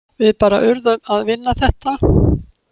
Við bara urðum að vinna þetta.